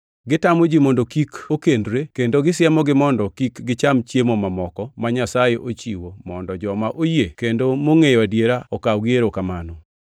Gitamo ji mondo kik okendre, kendo gisiemogi mondo kik gicham chiemo mamoko ma Nyasaye ochiwo mondo joma oyie kendo mongʼeyo adiera okaw gi erokamano.